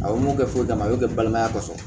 A ye mun kɛ foyi t'a la a y'o kɛ balimaya kɔsɔ